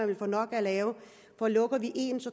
vil få nok at lave for lukker vi en